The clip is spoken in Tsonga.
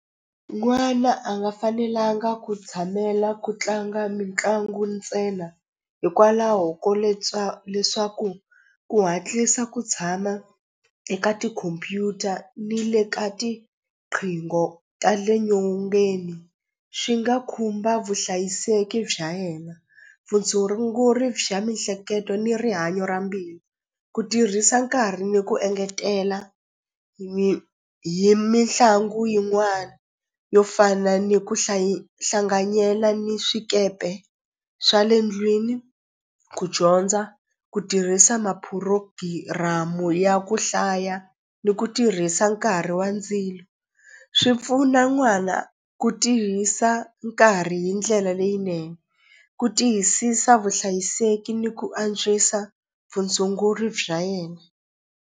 N'wana a nga fanelanga ku tshamela ku tlanga mitlangu ntsena hikwalaho ko leswaku ku hatlisa ku tshama eka tikhompyuta ni le ka tiqingho ta le nyongeni swi nga khumba vuhlayiseki bya yena bya mihleketo ni rihanyo ra mbilu ku tirhisa nkarhi ni ku engetela hi mitlangu yin'wani yo fana ni ku hlanganyela ni swikepe swa le ndlwini ku dyondza ku tirhisa mapurogiramu ya ku hlaya ni ku tirhisa nkarhi wa ndzilo swi pfuna n'wana ku tihisa nkarhi hi ndlela leyinene ku tiyisisa vuhlayiseki ni ku antswisa vutshunguri bya yena.